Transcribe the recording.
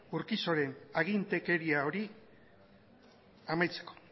urquijoren agintekeria hori amaitzeko